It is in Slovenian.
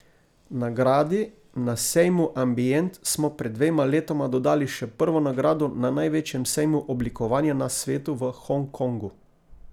Nagradi na sejmu Ambient smo pred dvema letoma dodali še prvo nagrado na največjem sejmu oblikovanja na svetu v Hong Kongu.